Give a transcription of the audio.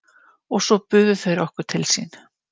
Og svo buðu þeir okkur til sín.